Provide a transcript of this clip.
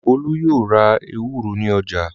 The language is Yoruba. Ọlá yóò ra ewúro ní ọjà.